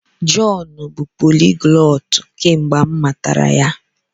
Jọn bụ poliglọtụ kemgbe m matara ya.